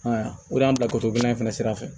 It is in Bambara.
Ayiwa o de y'an bila ko dilan in fana sira fɛ